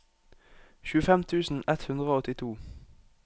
tjuefem tusen ett hundre og åttito